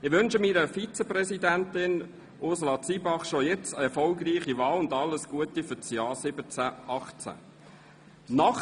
Ich wünsche meiner Vizepräsidentin Ursula Zybach bereits jetzt eine erfolgreiche Wahl und alles Gute für das Jahr 2017/2018.